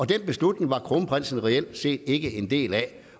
den beslutning var kronprinsen reelt set ikke en del af